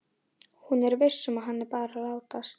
Hún er viss um að hann er bara að látast.